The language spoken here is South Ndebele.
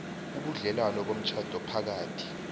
ubudlelwano bomtjhado phakathi